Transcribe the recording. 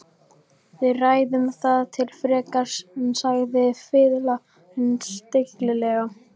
Við ræðum það ekki frekar, sagði fiðlarinn stillilega.